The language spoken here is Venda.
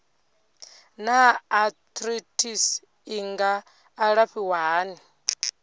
naa arthritis i nga alafhiwa hani